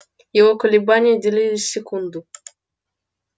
его колебания делились секунду